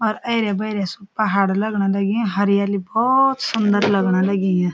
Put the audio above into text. और ऐरे-बेरे सु पहाड़ लगण लगीं हरियाली भौत सुंदर लगण लगीं या।